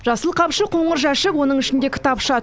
жасыл қапшық қоңыр жәшік оның ішінде кітапша